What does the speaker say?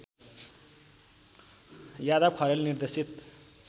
यादव खरेल निर्देशित